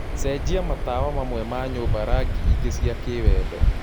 cenjĩa matawa mamwe ma nyũmba rangĩ ingi cĩa kiwendo